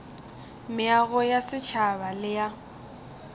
meago ya setšhaba le ya